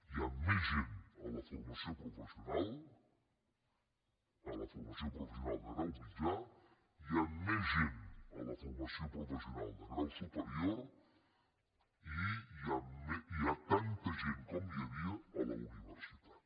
hi ha més gent a la formació professional de grau mitjà hi ha més gent a la formació professional de grau superior i hi ha tanta gent com hi havia a la universitat